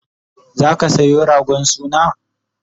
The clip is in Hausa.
zaka Sayo ragon suna?